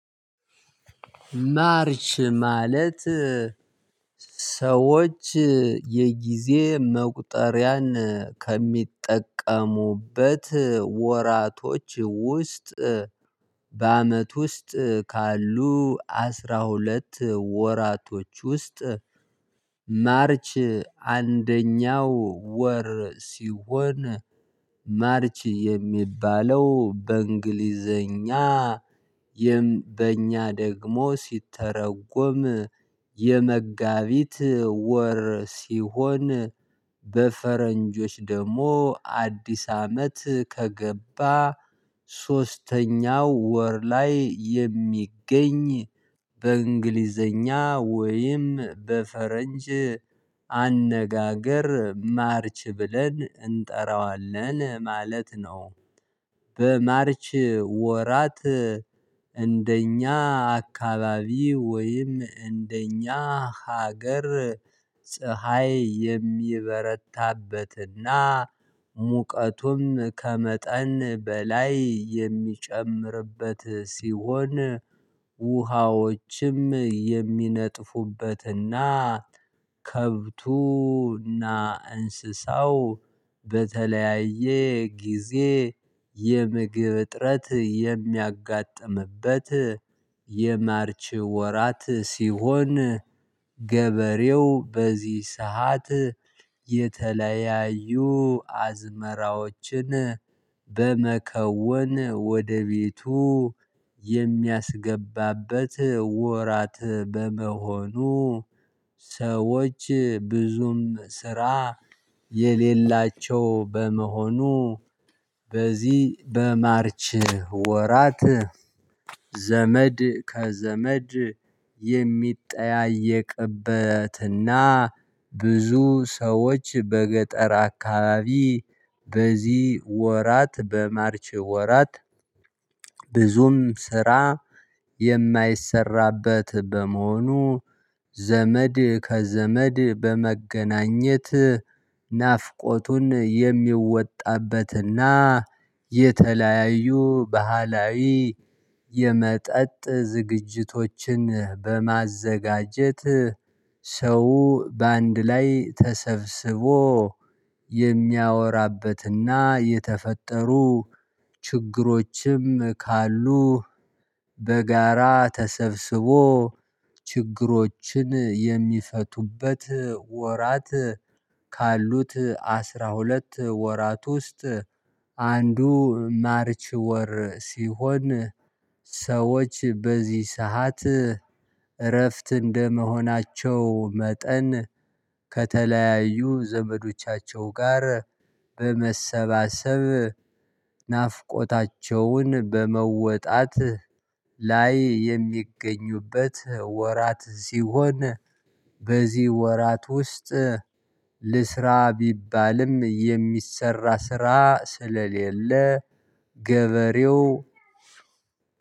ማርች ማለት ሰዎች የጊዜ መቁጠሪያን ከሚጠቀሙበት ወራቶች ውስጥ በአመት ውስጥ ካሉ አስራ ሁለት ወራቶች ውስጥ ማርች አንደኛው ወር ሲሆን ማርች የሚባለው በእንግሊዘኛ በእኛ ደግሞ ሲተረጎም የመጋቢት ወር ሲሆን በፈረንጆች ደግሞ አዲስ አመት ከገባ ሶስተኛው ወር ላይ የሚገኝ በእንግሊዘኛ ወይም በፈረንጅ አነጋገር ማርች ብለን እንጠራዋለን ማለት ነው። በማርች ወራት እንደኛ አካባቢ ወይም እንደኛ ሀገር ፀሀይ የሚበረታበትና ሙቀቱም ከመጠን በላይ የሚጨምርበት ሲሆን ውሃዎችም የሚነጥፉበትና ከብቱና እንስሳው በተለያየ ጊዜ የምግብ እጥረት የሚያጋጥምበት የማርች ወራት ሲሆን። ገበሬው በዚህ ሰዓት የተለያዩ አዝመራዎችን በመከወን ወደ ቤቱ የሚያስገባበት ወራት በመሆኑ። ሰዎች ብዙም ስራ የሌላቸው በመሆኑ። በዚህ በማርች ወራት ዘመድ ከዘመድ የሚጠያየቅበትና ብዙ ሰዎች በገጠር አካባቢ በዚህ ወራት በማርች ወራት ብዙም ስራ የማይሰራበት በመሆኑ ዘመድ ከዘመድ በመገናኘት ናፍቆቱን የሚወጣበትና የተለያዩ ባህላዊ የመጠጥ ዝግጅቶችን በማዘጋጀት ሰው በአንድ ላይ ተሰብስቦ የሚያወራበትና የተፈጠሩ ችግሮችም ካሉ በጋራ ተሰብስቦ ችግሮችን የሚፈቱበት ወራት። ካሉት አስራ ሁለት ወራት ውስጥ አንዱ ማርች ወር ሲሆን። ሰዎች በዚህ ሰዓት እረፍት እንደመሆናቸው መጠን ከተለያዩ ዘመዶቻቸው ጋር በመሰባሰብ ናፍቆታቸውን በመወጣት ላይ የሚገኙበት ወራት ሲሆን። በዚህ ወራት ውስጥ ልስራ ቢባልም የሚሰራ ስራ ስለሌለ ገበሬው